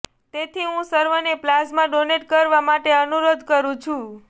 તેથી હું સર્વેને પ્લાઝમા ડોનેટ કરવા માટે અનુરોધ કરું છું